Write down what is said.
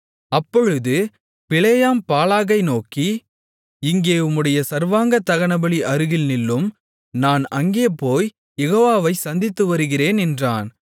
அப்பொழுது பிலேயாம் பாலாகை நோக்கி இங்கே உம்முடைய சர்வாங்கதகனபலி அருகில் நில்லும் நான் அங்கே போய்க் யெகோவாவைச் சந்தித்துவருகிறேன் என்றான்